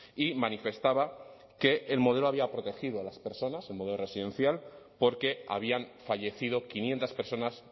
y manifestaba que el modelo había protegido a las personas el modelo residencial porque habían fallecido quinientos personas